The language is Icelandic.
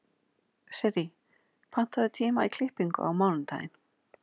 Sirrý, pantaðu tíma í klippingu á mánudaginn.